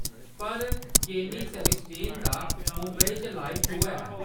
पर Kenny Sebastian दा मुंबई च लाइव शो है।